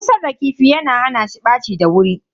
Busar da kifi yana hana shi ɓaci da wuri.